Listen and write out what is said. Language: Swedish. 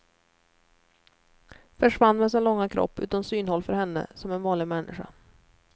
Försvann med sin långa kropp utom synhåll för henne som en vanlig människa.